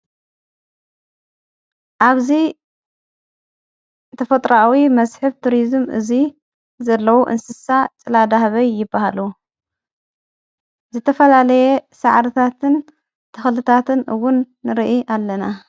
ኣብዙይ ተፈጥራዊ መስሕብ ቱርዝም እዙይ ዘለዉ እንስሳ ጸላዳህበይ ይበሃሉ ዘተፈላለየ ሰዓርታትን ተኽልታትን እውን ንርኢ ኣለና።